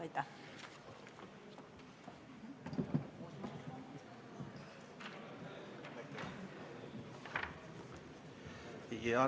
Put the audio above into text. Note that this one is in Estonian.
Aitäh!